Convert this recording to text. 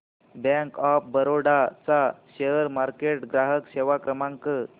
bank of Baroda चा share market ग्राहक सेवा क्रमांक